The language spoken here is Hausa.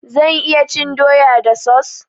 Zan iya cin doya da sos?